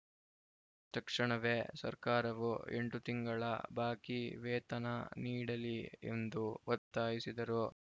ತಕ್ಷಣವೇ ಸರ್ಕಾರವು ಎಂಟು ತಿಂಗಳ ಬಾಕಿ ವೇತನ ನೀಡಲಿ ಎಂದು ಒತ್ತಾಯಿಸಿದರು